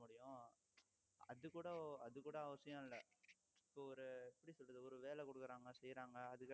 முடியும் அது கூட அது கூட அவசியம் இல்லை இப்ப ஒரு எப்படி சொல்றது ஒரு வேலை கொடுக்குறாங்க செய்யறாங்க